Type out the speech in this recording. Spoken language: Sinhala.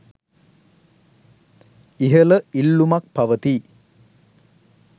ඉහළ ඉල්ලුමක් පවතී